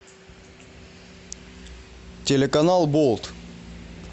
телеканал болт